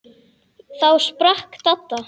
Þá sprakk Dadda.